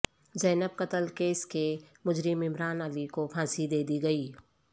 زینب قتل کیس کے مجرم عمران علی کو پھانسی دے دی گئی